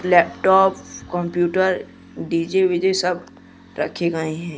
Laptop computer DJ VJ सब रखे गए हैं।